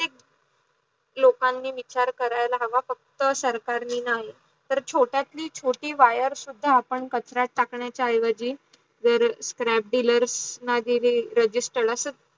लोकांनी विचार करायला हावं फक्त सरकारनी नाही. तर छोट्यातली छोटी wire सुद्धा कचर्यत टाकणायची ऐवजी जर scrap dealers ला दिली registered